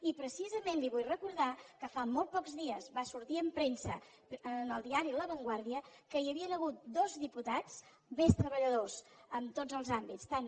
i precisament li vull recordar que fa molts pocs dies va sortir en premsa en el diari la vanguardia que hi havia hagut dos diputats més treballadors en tots els àmbits tant